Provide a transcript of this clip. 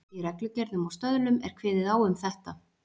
Í reglugerðum og stöðlum er kveðið á um þetta.